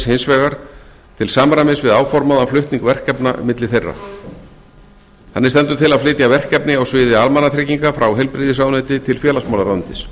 hins vegar til samræmis við áformaðan flutning verkefna milli þeirra þannig stendur til að flytja verkefni á sviði almannatrygginga frá heilbrigðisráðuneyti til félagsmálaráðuneytis